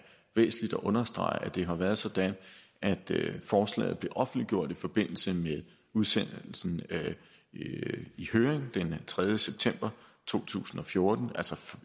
understrege at det har været sådan at forslaget blev offentliggjort i forbindelse med udsendelsen i høring den tredje september to tusind og fjorten altså